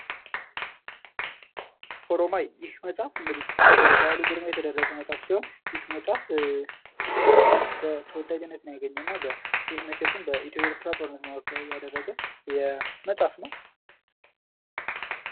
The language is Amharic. ኦሮማይ ይህ መፅሐፍ እንግዲህ በበዓሉ ግርማ የተደረሰ መፅሐፍ ሲሆን ይህ መፅሐፍ ተወዳጅነትን ያገኘ እና መቼቱም በኢትዮ ኤርትራ ጦርነት መካከል ያደረገ መፅሐፍ ነው::